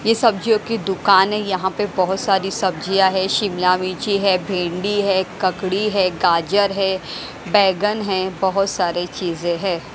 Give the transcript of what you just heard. ये सब्जियों की दुकान है यहां पे बहोत सारी सब्जियां है शिमला मिर्च है भिंडी है ककड़ी है गाजर है बैगन है बहोत सारे चीजें हैं।